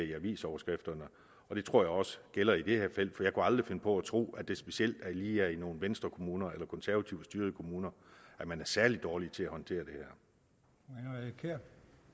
i avisoverskrifterne og det tror jeg også gælder i det her tilfælde aldrig finde på at tro at det specielt lige er i nogle venstrekommuner eller konservativt styrede kommuner man er særlig dårlig til at håndtere det her